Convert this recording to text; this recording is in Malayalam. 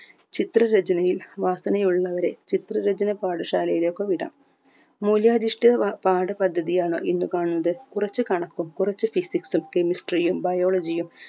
ചിത്രരചനയിൽ വാസനയുള്ളവരെ ചിത്രരചന പാഠശാലയിലേക്കോ വിടാം മൂലാരിഷ്ട്യ വ പാഠപദ്ധതിയാണൊ ഇന്ന് കാണുന്നത് കുറച്ച് കണക്കും കുറച്ച് physics ഉം chemistry യും biology യും